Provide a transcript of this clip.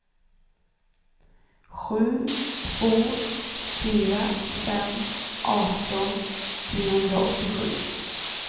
sju två fyra fem arton trehundraåttiosju